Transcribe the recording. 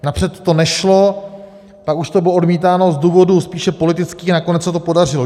Napřed to nešlo, pak už to byl odmítáno z důvodu spíše politického a nakonec se to podařilo.